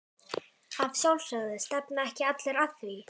Að sjálfsögðu, stefna ekki allir að því?